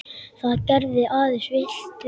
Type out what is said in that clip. Það gerði aðeins illt verra.